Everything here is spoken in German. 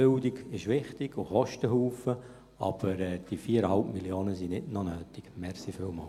Bildung ist wichtig und kostet viel, aber diese 4,5 Mio. Franken sind nicht noch nötig.